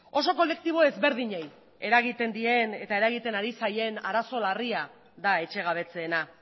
oso kolektibo ezberdinei eragiten dien eta eragiten ari zaien arazo larria da etxegabetzeena